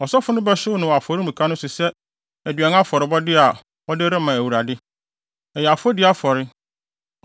Ɔsɔfo no bɛhyew no afɔremuka no so sɛ aduan afɔrebɔ a wɔde rema Awurade. Ɛyɛ afɔdi afɔre.